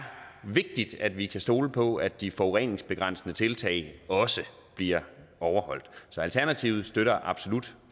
vigtigt at vi kan stole på at de forureningsbegrænsende tiltag også bliver overholdt så alternativets støtter absolut